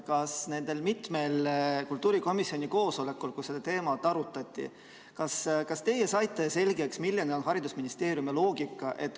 Kas nendel mitmel kultuurikomisjoni koosolekul, kus seda teemat arutati, teie saite selgeks, milline on haridusministeeriumi loogika?